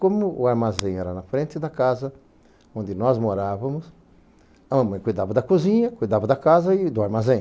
Como o armazém era na frente da casa onde nós morávamos, a mamãe cuidava da cozinha, cuidava da casa e do armazém.